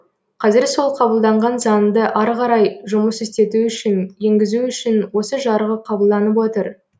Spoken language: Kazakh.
қазір сол қабылданған заңды ары қарай жұмыс істету үшін енгізу үшін осы жарғы қабылданып отыр